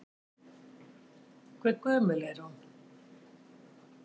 Hve gömul er hún?